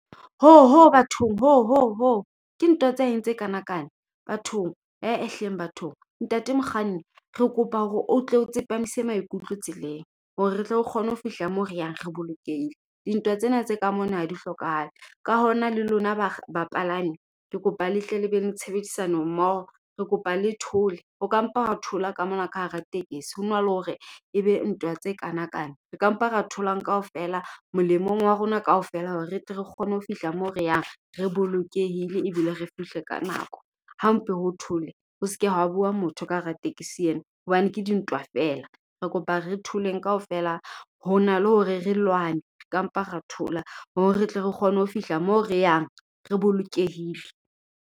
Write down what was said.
Ho! Ho! Bathong, ho! Ho! Ho! Ke ntwa tsa eng tse kana kana. Bathong, ee hleng bathong. Ntate mokganni, re kopa hore o tle o tsepamise maikutlo tseleng. Hore re tle re kgone ho fihla moo re yang, re bolokehile. Dintwa tsena tse ka mona ha di hlokahale. Ka hona le lona ba palami, ke kopa le hleng le beng le tshebedisano mmoho. Re kopa le thole. Ho ka mpa ha thola ka mona ka hara tekesi, ho na le hore ebe ntwa tse kana kana. Re ka mpa ra tholang kaofela, molemong wa rona kaofela hore re tle re kgone ho fihla moo re yang, re bolokehile ebile re fihle ka nako. Ha mpe ho tholwe. Ho seke wa bua motho ka hara tekesi ena. Hobane ke dintwa fela. Re kopa re tholeng kaofela. Ho na le hore re lwane, ka mpa ra thola. Hore re tle re kgone ho fihla moo re yang, re bolokehile.